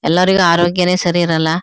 ಎಲ್ಲರಿಗು ಆರೋಗ್ಯನೇ ಸರಿ ಇರೋಲ್ಲ.